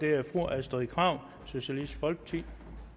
det er fru astrid krag socialistisk folkeparti